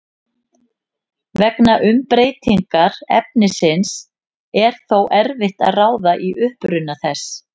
Vegna umbreytingar efnisins er þó erfitt að ráða í uppruna þess.